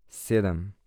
Sedem.